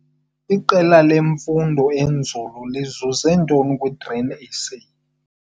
Iqela lofundo-nzulu lizuze ntoni kwiGrain SA?